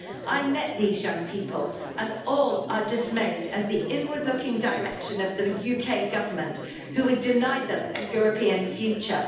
I met these young people and all are dismayed at the inward looking direction of the UK Government who would deny them a European future.